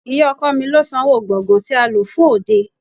Ì̀yá ọkọ mi lo sanwó gbògán tí a lò fún òde.